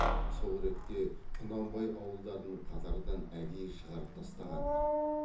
сол ретте құнанбай ауылдарын қатардан әдейі шығартып тастаған ды